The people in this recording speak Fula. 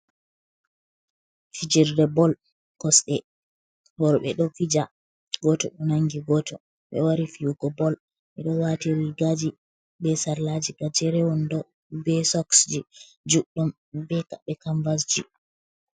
Fijirde bol kosde, worbe do fija goto do nangi goto, be wari fiyugo bol, be do wati rigaji be sarlaji gajeren wondo be soksji juddum, be pade kamvasji.